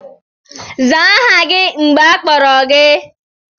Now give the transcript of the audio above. Zaa aha gị mgbe akpọrọ gị!